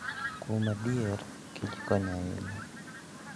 Kuom adier, kich kony ahinya .